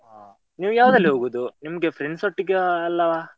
ಹಾ ನೀವ್ ಯಾವ್ದ್ರಲ್ಲಿ ಹೋಗೋದು, ನಿಮ್ಗೆ friends ಒಟ್ಟಿಗೆವಾ ಅಲ್ಲ?